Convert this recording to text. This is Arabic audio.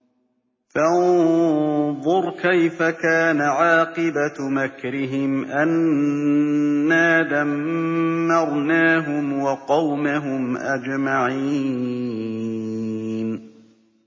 فَانظُرْ كَيْفَ كَانَ عَاقِبَةُ مَكْرِهِمْ أَنَّا دَمَّرْنَاهُمْ وَقَوْمَهُمْ أَجْمَعِينَ